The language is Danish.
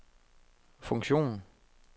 funktion